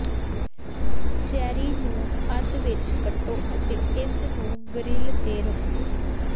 cherry ਨੂੰ ਅੱਧ ਵਿਚ ਕੱਟੋ ਅਤੇ ਇਸ ਨੂੰ ਗਰਿਲ ਤੇ ਰੱਖੋ